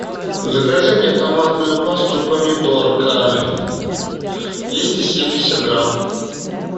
закажи мне томатную пасту помидорка двести семьдесят грамм